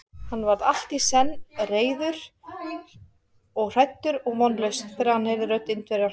Hann varð allt í senn reiður og hræddur og vonlaus, þegar hann heyrði rödd Indverjans.